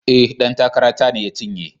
E, ɗan takara ta ne ya cinye.